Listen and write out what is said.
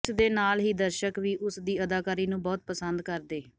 ਇਸ ਦੇ ਨਾਲ ਹੀ ਦਰਸ਼ਕ ਵੀ ਉਸ ਦੀ ਅਦਾਕਾਰੀ ਨੂੰ ਬਹੁਤ ਪਸੰਦ ਕਰਦੇ